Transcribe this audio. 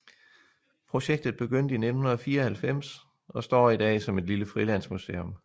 Projektet begyndte i 1994 og står i dag som et lille frilandsmuseum